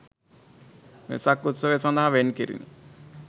වෙසක් උත්සවය සඳහා වෙන් කෙරිණ